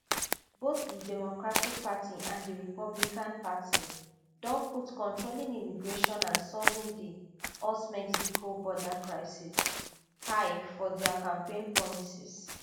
both di democratic party and di republican party don put controlling immigration and solving di usmexico border crisis high for dia campaign promises